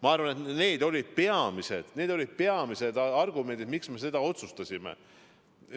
Ma arvan, et need olid peamised argumendid, miks me nii otsustasime.